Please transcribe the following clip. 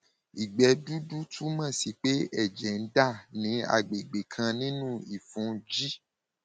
ìgbẹ dúdú túmọ sí pé ẹjẹ ń dà ní agbègbè kan nínú ìfun g